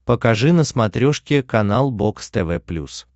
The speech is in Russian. покажи на смотрешке канал бокс тв плюс